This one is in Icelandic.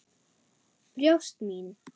Brjóst mín.